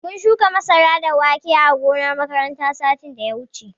Mun shuka masara da wake ã gonan makaranta satin da ya wuche.